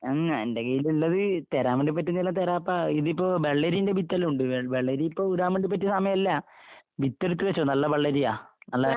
അങ്ങ എന്റെ കൈയ്യിലുള്ളത് തരാൻ വേണ്ടിപ്പറ്റുന്നയെല്ലാം തരാപ്പാ. ഇതിപ്പോ വെള്ളരീന്റെ വിത്തെല്ലാം ഉണ്ട്. വെൾ വെള്ളരി ഇപ്പൊ ഇടാൻ വേണ്ടി പറ്റിയ സമയാല്ല. വിത്തിനിട്ട് വെച്ചോ നല്ല വെള്ളരിയാ. നല്ല